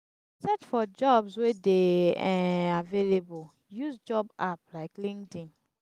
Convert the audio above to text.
search for jobs wey de um available use job app like linkedin